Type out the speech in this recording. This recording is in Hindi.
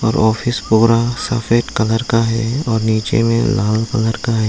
और ऑफिस पूरा सफेद कलर का है और नीचे में लाल कलर का है।